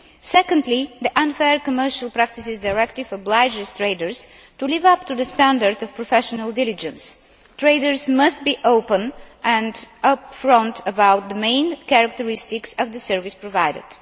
Secondly, the Unfair Commercial Practices Directive obliges traders to live up to the standard of professional diligence. Traders must be open and up front about the main characteristics of the service provided.